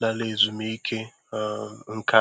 lara ezumike um nká.